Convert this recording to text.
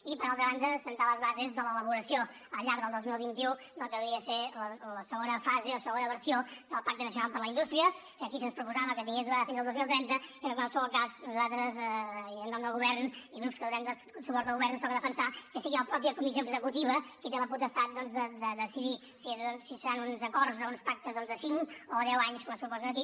i per altra banda assentar les bases de l’elaboració al llarg del dos mil vint u del que hauria de ser la segona fase o segona versió del pacte nacional per a la indústria que aquí se’ns proposava que tingués durada fins al dos mil trenta i que en qualsevol cas nosaltres i en nom del govern i grups que donem suport al govern ens toca defensar que sigui la comissió executiva mateixa qui té la potestat doncs de decidir si seran uns acords o uns pactes doncs de cinc o deu anys com es proposa aquí